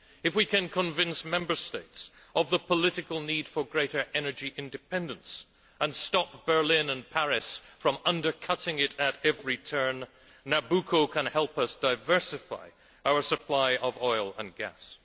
If we can convince Member States of the political need for greater energy independence, and stop Berlin and Paris from undercutting it at every turn, Nabucco can help us diversify our supply of oil and gas.